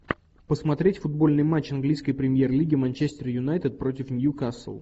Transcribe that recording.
посмотреть футбольный матч английской премьер лиги манчестер юнайтед против ньюкасл